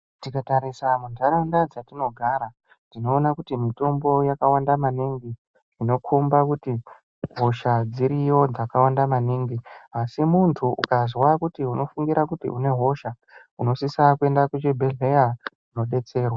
Tika tarisa mu ndaraunda dzatino gara tinoona kuti mitombo yaka wanda maningi inokomba kuti hosha dziriyo dzakawanda maningi asi muntu ukazwa kuti unofingira kuti une hosha unosisa kuenda ku chi bhedhlera ko detserwa.